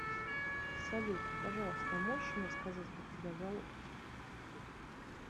салют пожалуйста можешь мне сказать как тебя зовут